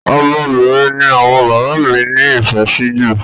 Ọmọbìnrin ni àwọn bàbá mí ní ìfẹ sí jù.